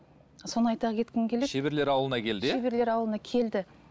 соны айта кеткім келеді шеберлер ауылына келді иә шеберлер ауылына келді